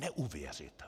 Neuvěřitelné!